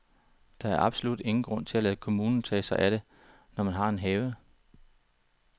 Der er absolut ingen grund til at lade kommunen tage sig af det, når man har en have.